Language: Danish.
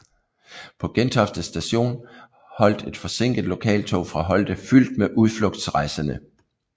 På Gentofte Station holdt et forsinket lokaltog fra Holte fyldt med udflugtsrejsende